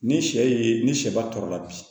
Ni sɛ ye ni sɛba tɔɔrɔ la bi